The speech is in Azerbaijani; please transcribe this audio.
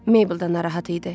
Maybel də narahat idi.